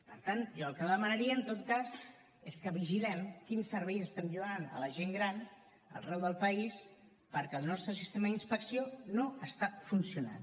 per tant jo el que demanaria en tot cas és que vigilem quins serveis estem lliurant a la gent gran arreu del país perquè el nostre sistema d’inspecció no està funcionant